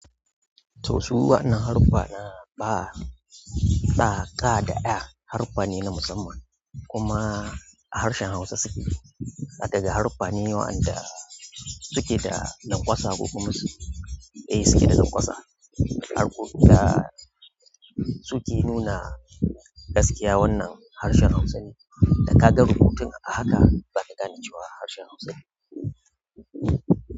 To su waɗannan harufa na ba ɗa, ka da ɗa harufa ne na musamman kuma a harshen Hausa suke. Daga haruffa ne wayanda suke da lanƙwasa ko kuma suɗa suke da lanƙwasa. Harbin da suke nuna gaskiya wannan harshen Hausa ne. Da ka ga rubutun a haka zaka gane cewa harshen Hausa.